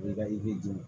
O de ka i bɛ jeni